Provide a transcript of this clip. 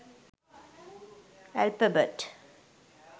alphabet